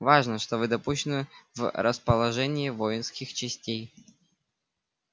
важно что вы допущены в расположение воинских частей